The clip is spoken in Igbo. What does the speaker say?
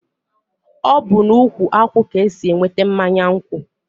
ọ bụ n'ukwu akwụ ka esi enweta mmanya nkwụ.